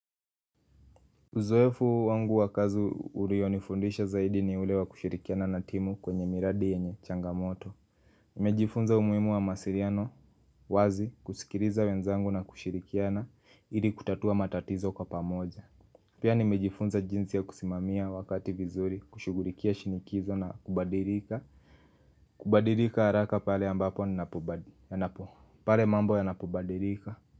Uzoefu wangu wakazi uruionifundisha zaidi ni ule wa kushirikiana na timu kwenye miradi yenye changamoto Nimejifunza umuhimu wa mawasiriano wazi kusikiriza wenzangu na kushirikiana ili kutatua matatizo kwa pamoja Pia nimejifunza jinsi ya kusimamia wakati vizuri kushughulikia shinikizo na kubadirika Kubadirika haraka pale ambapo pale mambo yanapobadilika.